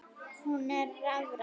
Hún er rafræn.